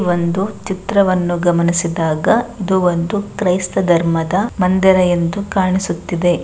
ಒಂದು ಚಿತ್ರವನ್ನು ಗಮನಿಸಿದಾಗ ಇದು ಒಂದು ಕ್ರೈಸ್ತ ಧರ್ಮದ ಮಂದಿರ ಎಂದು ಕಾಣಿಸುತ್ತಿದೆ .